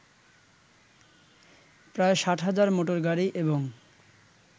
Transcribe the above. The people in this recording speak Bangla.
প্রায় ৬০,০০০ মটোরগাড়ি এবং